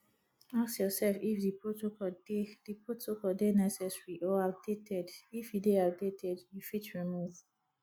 ask yourself if di protocol dey di protocol dey necessary or outdated if e dey outdated you fit remove